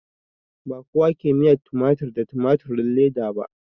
Ba kowa ke miyar tumatir da tumatirin leda ba